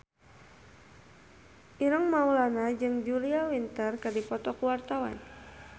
Ireng Maulana jeung Julia Winter keur dipoto ku wartawan